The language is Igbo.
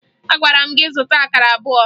Agwara m gị zụta akara abụọ!